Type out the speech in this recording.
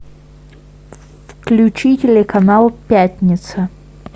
включи телеканал пятница